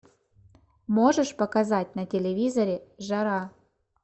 можешь показать на телевизоре жара